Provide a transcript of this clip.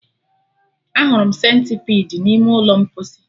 Ahụrụ m Sentipidi n'ime ụlọ mposi